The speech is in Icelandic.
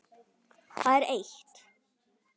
Það er eitt.